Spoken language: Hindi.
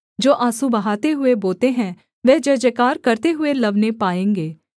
जो आँसू बहाते हुए बोते हैं वे जयजयकार करते हुए लवने पाएँगे